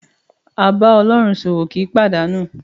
A bá Ọlọ́run ṣòwò kì í pàdánù.